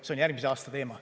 See on järgmise aasta teema.